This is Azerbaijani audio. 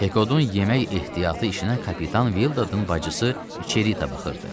Pekodun yemək ehtiyatı işinə kapitan Vildadın bacısı Çerita baxırdı.